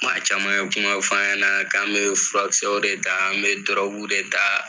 Maa caman ye kuma f'an ɲɛnɛ k'an be furakisɛw de taa n bɛ dɔrɔguw de ta